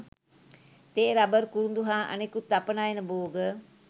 තේ රබර් කුරුඳු හා අනෙකුත් අපනයන භෝග